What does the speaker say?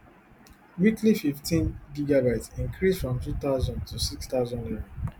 weekly fifteengb increase from two thousand to six thousand naira